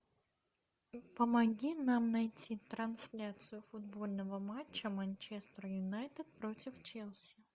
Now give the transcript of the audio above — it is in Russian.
помоги нам найти трансляцию футбольного матча манчестер юнайтед против челси